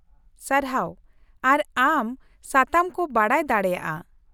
ᱥᱟᱨᱦᱟᱣ, ᱟᱨ ᱟᱢ ᱥᱟᱛᱟᱢ ᱠᱚ ᱵᱟᱰᱟᱭ ᱫᱟᱲᱮᱭᱟᱜᱼᱟ ᱾